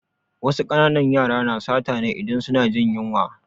Wasu ƙananan yara na sata ne idan suna jin yunwa